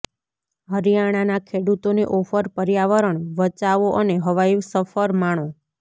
હરિયાણાના ખેડૂતોને ઓફરઃ પર્યાવરણ વચાવો અને હવાઈ સફર માણો